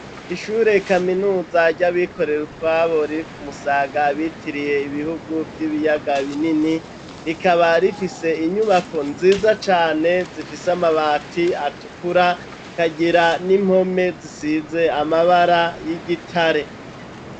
Ishure kaminuza ryabikorera utwabo, riri kumusaga bitiriye Ibihugu Vy'Ibiyaga binini, rikaba rifise inyubako nziza cane, zifise amabati atukura, kagira n'impome zisize amabara y'igitare.